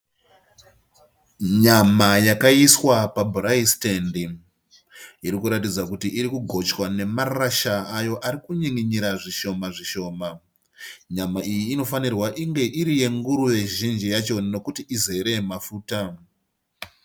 Nyama yakaiswa pabhuraisitendi, irikuratidza kuti iri kugochwa nemarasha ayo ari kunyin'inyira zvishoma zvishoma. Nyama iyi inofanira kunge iri yenguruve zhinji yacho nekuti izere mafuta